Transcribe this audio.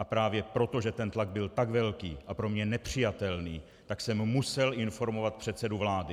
A právě proto, že ten tlak byl tak velký a pro mě nepřijatelný, tak jsem musel informovat předsedu vlády.